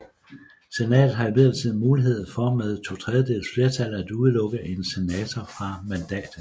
Senatet har imidlertid mulighed for med to tredjedeles flertal at udelukke en senator fra mandatet